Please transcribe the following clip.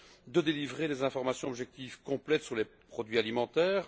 de délivrer des informations objectives complètes sur les produits alimentaires.